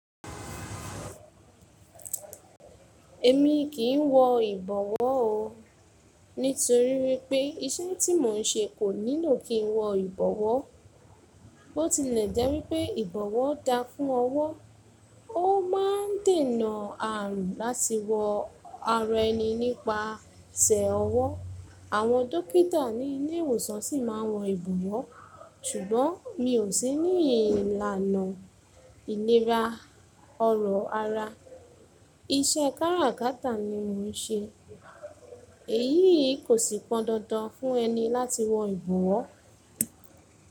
Èmi kì í wọ ìbọ̀wọ́ o, nítorí wípé iṣẹ́ tí mò ń ṣe kò nílò kí n wọ ìbọ̀wọ́. Bo ti lè jẹ́ wípé ìbọ̀wọ́ da fún ọwọ́, ó máa ń dènà àrùn láti wọ ara ẹni nípasẹ̀ ọwọ́. Àwọn dókítà ní ilé ìwòsàn sì máa ń wọ ìbọ̀wọ́. Ṣùgbọ́n mi ò sí ní ìlànà ìlera ọrọ̀ ara. Iṣẹ́ káràkátà ni mò ń ṣe. Èyí kò sì pọn dandan fún ẹni láti wọ ìbọ̀wọ́.